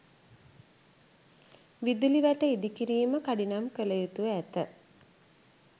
විදුලි වැට ඉදිකිරීම කඩිනම් කළ යුතුව ඇත.